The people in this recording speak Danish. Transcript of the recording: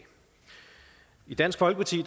i dansk folkeparti